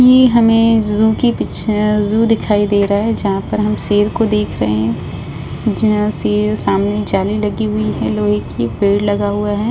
ये हमें ज़ू की पिक्चर ज़ू दिखाई दे रहा है। जहां पर हम शेर को देख रहे है। जहाँ शेर सामने जाली लगी हुई है लोहे की पेड़ लगा हुआ है।